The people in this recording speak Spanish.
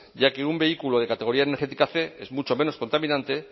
ya que un vehículo de categoría energética cien es mucho menos contaminante